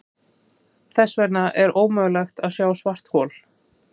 Þess vegna er ómögulegt að sjá svarthol.